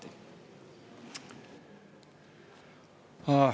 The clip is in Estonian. Aitäh!